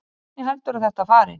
Hvernig heldurðu að þetta fari?